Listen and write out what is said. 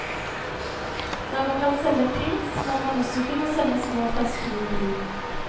Når man kan selge pils, må man også kunne selge små flasker med vin.